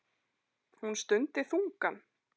Hún stundi þungan.